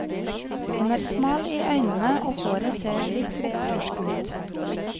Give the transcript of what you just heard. Han er smal i øynene, og håret ser litt opprørsk ut.